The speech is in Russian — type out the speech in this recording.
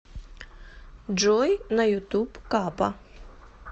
джой на ютуб капа